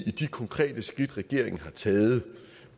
i de konkrete skridt regeringen har taget